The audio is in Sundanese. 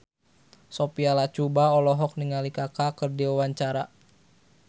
Sophia Latjuba olohok ningali Kaka keur diwawancara